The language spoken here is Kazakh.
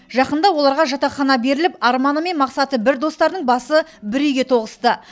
жақында оларға жатақхана беріліп арманы мен мақсаты бір достардың басы бір үйге тоғысты